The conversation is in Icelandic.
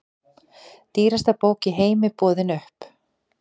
Dýrasta bók í heimi boðin upp